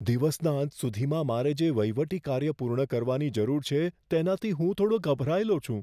દિવસના અંત સુધીમાં મારે જે વહીવટી કાર્ય પૂર્ણ કરવાની જરૂર છે તેનાથી હું થોડો ગભરાયેલો છું.